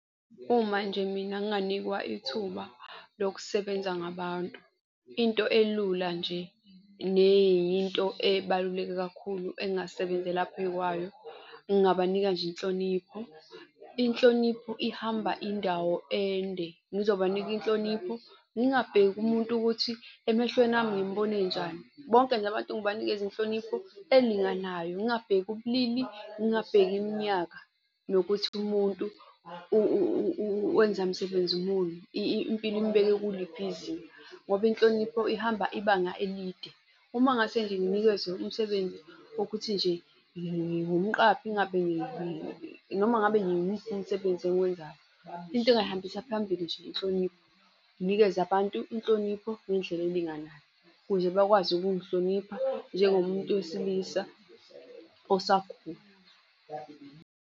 Uma nje mina nginganikwa ithuba lokusebenza ngabantu, into elula nje neyinto ebaluleke kakhulu engingasebenza phey' kwayo ngingabanika nje inhlonipho. Inhlonipho ihamba indawo ende ngizobanika inhlonipho, ngingabheka umuntu ukuthi emehlweni ami ngimbona enjani. Bonke nje abantu ngibanikeze inhlonipho elinganayo. Ngingabheki ubulili, ngingabheki iminyaka nokuthi umuntu wenza msebenzi muni. Impilo imbeke kuliphi izinga ngoba inhlonipho ihamba ibanga elide. Uma ngase nje nginikezwe umsebenzi wokuthi nje ngingumqaphi, ngabe noma ngabe umsebenzi engiwenzayo. Into engingayihambisa phambili nje inhlonipho. Nginikeze abantu inhlonipho ngendlela elinganayo, ukuze bakwazi ukungihlonipha njengomuntu wesilisa osakhula.